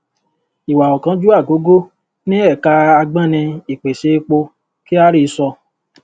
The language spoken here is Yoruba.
iwà ọ̀kánjúà gogò ní ẹ̀ka agbọ́ni ìpèsè epo kyari sọ.